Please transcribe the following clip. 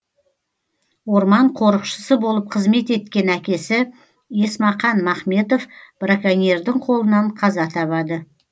орман қорықшысы болып қызмет еткен әкесі есмақан махметов браконьердің қолынан қаза табады